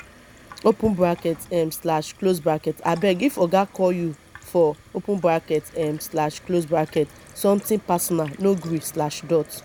open bracket um slash close bracket abeg if oga call you for open bracket um slash close bracket something personal no gree slash dot